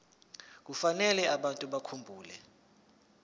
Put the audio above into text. kufanele abantu bakhumbule